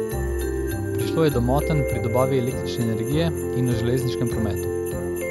Prišlo je do motenj pri dobavi električne energije in v železniškem prometu.